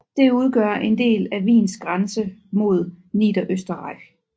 Det udgør en del af Wiens grænse mod Niederösterreich